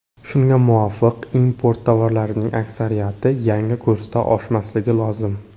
Shunga muvofiq, import tovarlarining aksariyati yangi kursda oshmasligi lozim.